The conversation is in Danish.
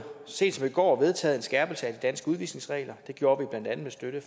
sent som i går vedtaget en skærpelse af de danske udvisningsregler det gjorde vi blandt andet med støtte